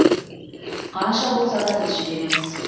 қанша болса да біз жібереміз